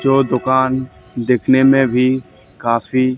जो दुकान देखने में भी काफी --